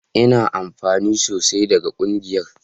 Ina amfana sosai daga ƙungiyar